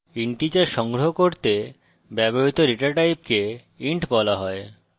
integers সংগ্রহ করতে ব্যবহৃত ডেটা টাইপকে int বলা হয়